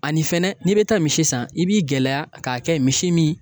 Ani fɛnɛ n'i bɛ taa misi san i b'i gɛlɛya k'a kɛ misi min